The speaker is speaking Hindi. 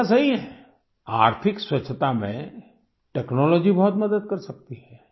ये बात सही है आर्थिक स्वच्छता में टेक्नोलॉजी बहुत मदद कर सकती है